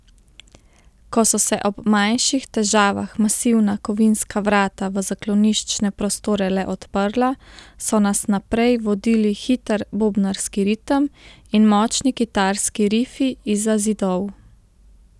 Ko so se ob manjših težavah masivna kovinska vrata v zakloniščne prostore le odprla, so nas naprej vodili hiter bobnarski ritem in močni kitarski rifi izza zidov.